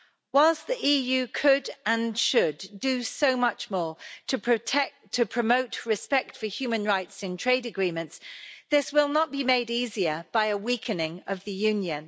Whilst the EU could and should do so much more to promote respect for human rights in trade agreements, this will not be made easier by a weakening of the Union.